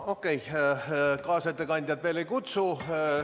Okei, kaasettekandjat veel ei kutsu.